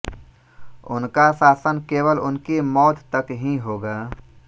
उनका शासन केवल उनकी मौत तक ही होगा